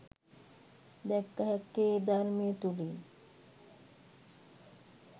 දැක්ක හැක්කේ ඒ ධර්මය තුළිනි